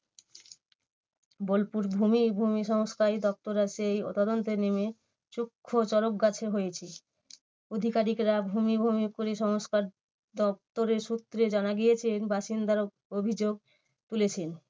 বোলপুর ভূমি~ ভূমিসংস্কারই দপ্তর আছে এই তদন্তে নেমে চক্ষু চকরগাছে হয়েছে। অধিকারিকরা ভূমি ভূমিসংস্কার দপ্তরের সূত্রে জানা গিয়েছে বাসিন্দার অভিযোগ তুলেছেন।